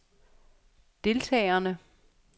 deltagerne